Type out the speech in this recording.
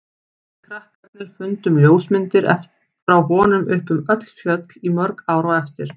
Við krakkarnir fundum ljósmyndir frá honum uppi um öll fjöll í mörg ár á eftir.